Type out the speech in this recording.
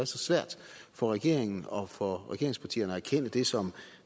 så svært for regeringen og for regeringspartierne at erkende det som